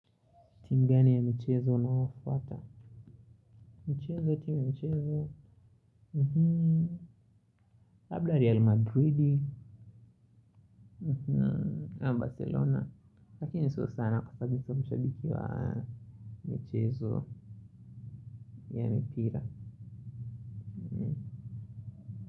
Timu gani ya michezo unayofuata. Michezo, timu ya michezo labda Real Madrid ama barcelona lakini sio sana kwa sababu sio mshabiki wa michezo ya mipira.